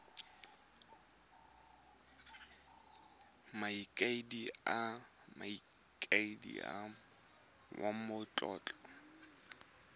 mokaedi le mokaedi wa matlotlo